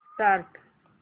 start